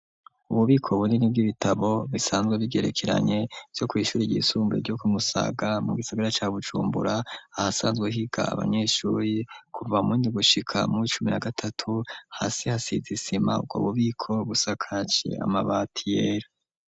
Ububiko bunini bw'ibitabo bisanzwe bigerekeranye vyo kw'ishure ryisumbuye ryo ku Musaga, mu gisigara ca Bujumbura, ahasanzwe higa abanyeshure, kuva muw'indwi gushika muw'icumi na gatatu, hasi hasize isima, ubwo bubiko busakaje amabati yera.